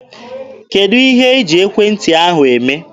Kedụ ihe iji ekwentị ahụ eme?